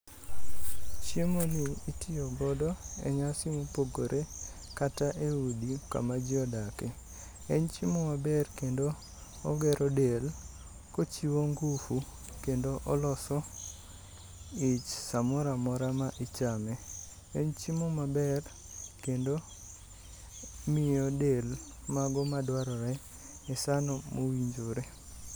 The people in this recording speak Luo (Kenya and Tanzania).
Chiemoni itiyogodo enyasi mopogore kata eudi kama ji odaki. En chiemo maber kendo ogero dek kochiwo ngufu kendo oloso ich samoro amora ma ichame. En chiemo maber kendo miyo del mago madwarore esano mowinjore.